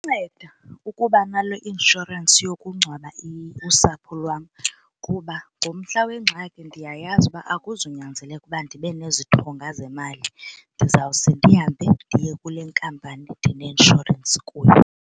Nceda ukuba naloo inshorensi yokungcwaba usapho lwam kuba ngomhla wengxaki ndiyayazi uba akuzunyanzeleka ukuba ndibe nezixhonga zemali ndizawuse ndihambe ndiye kule nkampani ndineinshorensi kuyo.